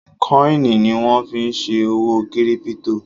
kọ́ìnì ni wọ́n fí n ṣe òwò kírípítò